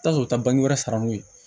I bi taa sɔrɔ u bɛ wɛrɛ san n'u ye